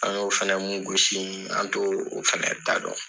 An y'o fɛnɛ mun gosi, an t'o fɛnɛ da dɔn.